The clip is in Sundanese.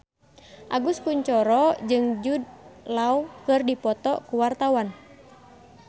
Agus Kuncoro jeung Jude Law keur dipoto ku wartawan